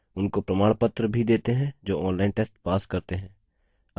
उनको प्रमाणपत्र भी देते हैं जो online test pass करते हैं